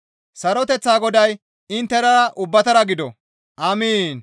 Saroteththa Goday inttenara ubbatara gido. Amiin.